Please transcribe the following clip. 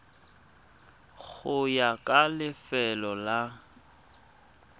go ya ka lefelo la